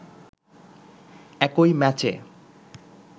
একই ম্যাচে